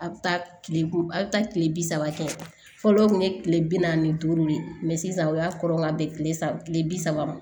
A bɛ taa tile a bɛ taa kile bi saba kɛ fɔlɔ o kun ye tile bi naani ni duuru de ye sisan o y'a kɔrɔ ka bɛn kile saba kile bi saba ma